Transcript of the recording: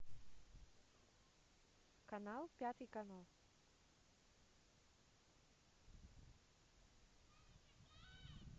канал пятый канал